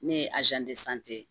Ne ye ye